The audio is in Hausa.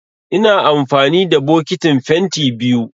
Ina amfani da bokitin fenti biyu